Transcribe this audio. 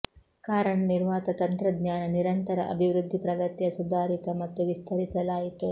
ಕಾರಣ ನಿರ್ವಾತ ತಂತ್ರಜ್ಞಾನ ನಿರಂತರ ಅಭಿವೃದ್ಧಿ ಪ್ರಗತಿಯ ಸುಧಾರಿತ ಮತ್ತು ವಿಸ್ತರಿಸಲಾಯಿತು